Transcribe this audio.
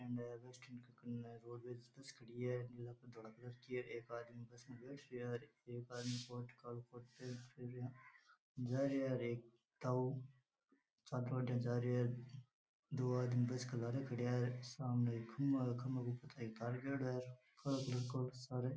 bus stand है वहां पर बस खड़ी है बस धोला कलर की है --